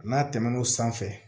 N'a tɛmɛn'o sanfɛ